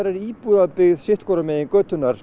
er íbúabyggð sitt hvorum megin götunnar